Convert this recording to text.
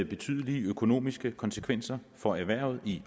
betydelige økonomiske konsekvenser for erhvervet i